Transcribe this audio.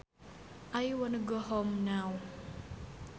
I wanna go home now